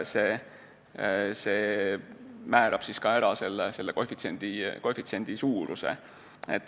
See määrab ära ka koefitsiendi suuruse.